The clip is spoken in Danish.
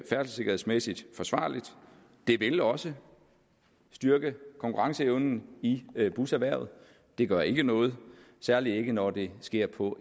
færdselssikkerhedsmæssigt forsvarligt det vil også styrke konkurrenceevnen i buserhvervet det gør ikke noget særlig ikke når det sker på